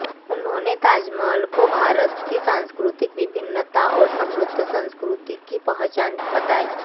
उन्होंने ताजमहल को भारत की सांस्कृतिक विभिन्नता और समृद्ध संस्कृति की पहचान बताया